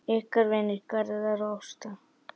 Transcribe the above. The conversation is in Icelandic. Ykkar vinir, Garðar og Ásta.